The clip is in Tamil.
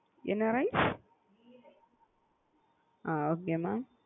என்ன ரைஸ் அ okay mam.